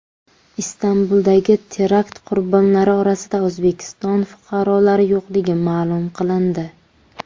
Istanbuldagi terakt qurbonlari orasida O‘zbekiston fuqarolari yo‘qligi ma’lum qilindi.